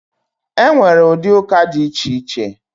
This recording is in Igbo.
Enwere ụdị ụka dị iche iche